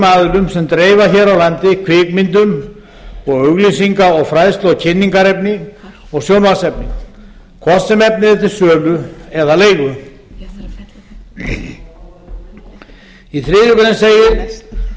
aðilum sem dreifa hér á landi kvikmyndum og auglýsinga fræðslu kynningar og sjónvarpsefni hvort sem efnið er til sölu eða leigu í þriðju grein segir